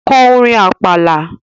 Ko orin Àpàlà!